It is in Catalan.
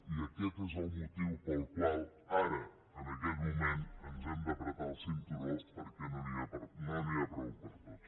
i aquest és el motiu pel qual ara en aquest moment ens hem d’estrènyer el cinturó perquè no n’hi ha prou per a tots